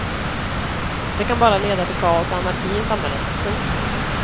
Det kan bara leda till kaos och anarki i samhället. punkt